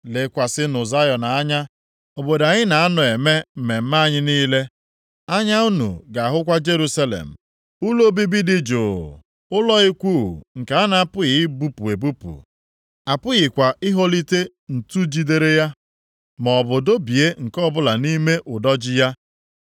Lekwasịnụ Zayọn anya, obodo anyị na-anọ eme mmemme anyị niile; anya unu ga-ahụkwa Jerusalem, ụlọ obibi dị jụụ, ụlọ ikwu nke a na-apụghị ibupụ ebupụ; apụghịkwa iholite ǹtu jidere ya, maọbụ dọbie nke ọbụla nʼime ụdọ ji ya.